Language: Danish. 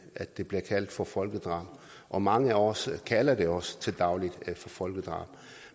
at det bliver kaldt for folkedrab og mange af os kalder det også til daglig for folkedrab